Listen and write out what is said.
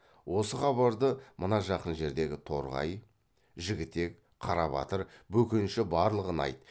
осы хабарды мына жақын жердегі торғай жігітек қарабатыр бөкенші барлығына айт